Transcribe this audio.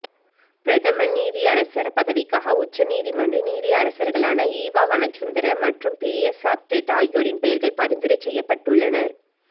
பிரதம நீதியரசர் பதவிக்காக உச்ச நீதிமன்றின் நீதியரசர்களான ஈவா வனசுந்தர மற்றும் பிரியசாத் டெப் ஆகியோரின் பெயர்கள் பரிந்துரை செய்யப்பட்டுள்ளனர்